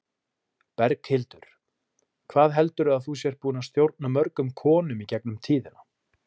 Berghildur: Hvað heldurðu að þú sért búin að stjórna mörgum konum í gegnum tíðina?